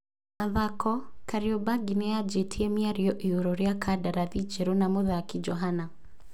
(Mathako) Kariobangi nĩyanjĩtie mĩario igũrũ rĩa kandarathi njerũ na mũthaki Johana.